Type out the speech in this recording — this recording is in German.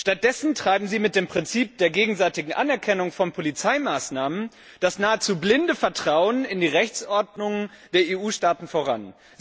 Stattdessen treiben sie mit dem Prinzip der gegenseitigen Anerkennung von Polizeimaßnahmen das nahezu blinde Vertrauen in die Rechtsordnung der EU Staaten voran.